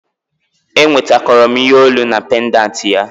Enwetakoro m ihe olu na pendanti ya